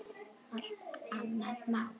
Allt annað mál.